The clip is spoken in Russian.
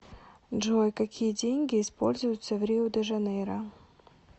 джой какие деньги используются в рио де жанейро